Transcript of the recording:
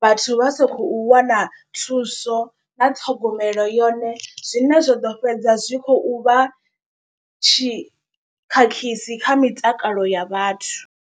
vhathu vha sa khou wana thuso na ṱhogomelo yone. Zwine zwa ḓo fhedza zwi khou vha tshi khakhisi kha mitakalo ya vhathu.